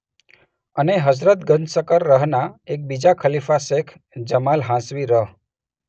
અને હઝરત ગંજશકર રહના એક બીજા ખલીફા શેખ જમાલ હાંસવી રહ.